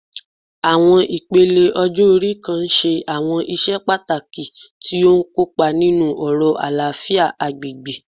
Àwọn ipele ọjọ́-ori kan ń ṣe àwọn iṣẹ́ pàtàkì tí ó ń kópa nínú ọ̀rọ̀ àlàáfíà agbègbè